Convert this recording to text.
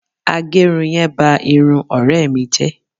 Agẹrun yẹn ba irun ọ̀rẹ́ mi jẹ